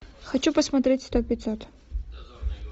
хочу посмотреть сто пятьсот